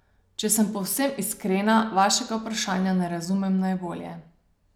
Če sem povsem iskrena, vašega vprašanja ne razumem najbolje.